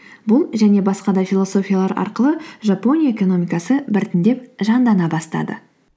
бұл және басқа да философиялар арқылы жапония экономикасы біртіндеп жандана бастады